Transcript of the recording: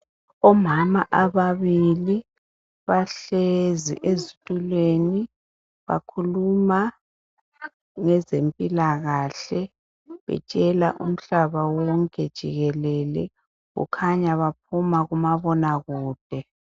Omama ababili bahlezi ezithulwe, bakhuluma ngezemphilakhale, batshela umhlaba wonke jikelele, kukanya baphuma kumabona kude.